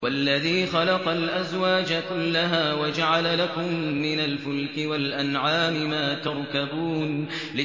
وَالَّذِي خَلَقَ الْأَزْوَاجَ كُلَّهَا وَجَعَلَ لَكُم مِّنَ الْفُلْكِ وَالْأَنْعَامِ مَا تَرْكَبُونَ